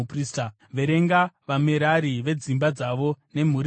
“Verenga vaMerari nedzimba dzavo nemhuri dzavo.